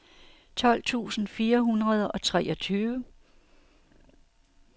tolv tusind fire hundrede og treogtyve